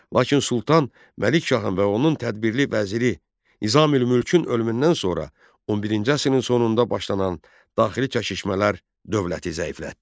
Lakin Sultan Məlikşahın və onun tədbirli vəziri Nizamülmülkün ölümündən sonra 11-ci əsrin sonunda başlanan daxili çəkişmələr dövləti zəiflətdi.